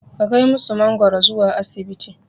Ka kai musu mangoro zuwa asibiti.